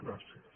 gràcies